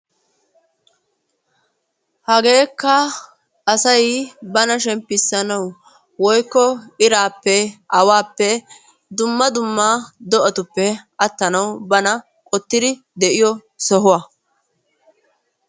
Hageekka asay bana shemppissanawu woykko iraappe awaappe dumma dumma do'atupppe attanawu bana qottiri de'iyo sohuwa.